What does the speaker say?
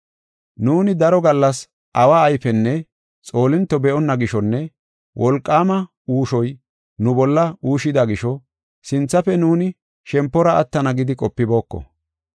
Nuuni daro gallas awa ayfenne xoolinto be7onna gishonne wolqaama uushoy nu bolla uushida gisho sinthafe nuuni shempora attana gidi qopibooko.